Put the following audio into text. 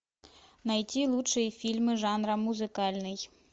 найти лучшие фильмы жанра музыкальный